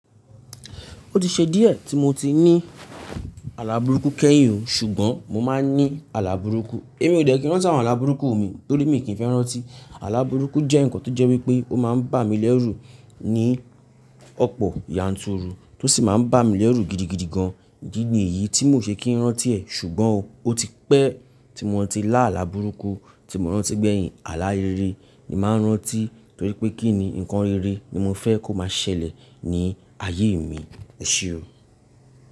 Ó ti ṣe díẹ̀ tí mo ti ní alábùrúkú kẹ́yìn o, ṣùgbọ́n mo máa ń ní alábùrúkú. Èmi ò dẹ̀ kí n ránti àwọn alábùrúkú mi torí mi kì í fẹ́ rántí. Alábùrúkú jẹ́ nǹkan tó jẹ́ wípé ó máa ń bà mí lẹ́rù ní ọ̀pọ̀ yanturu tó sì máa ń bà mí lẹ́rù gidigidi gan-an. Di ni yìí tí mò ṣe kí n rán tí ẹ̀ ṣùgbọ́n o, ó ti pẹ́ tí mo ti lá alábùrúkú, tí mo rántí pé gbeyin àlá rere ni màá rántí torí pé kí ni ǹkan rere ni mo fẹ́ kó máa ṣẹlẹ̀ ní ayé mi, ẹṣu o.